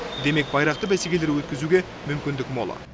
демек байрақты бәсекелер өткізуге мүмкіндік мол